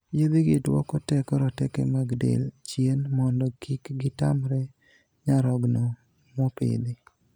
Yedhe gii duoko teko roteke mag del chien mondo kik gitamre nyarogno mopidhi.